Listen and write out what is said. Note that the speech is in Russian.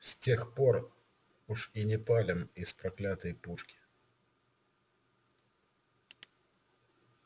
с тех пор уж и не палим из проклятой пушки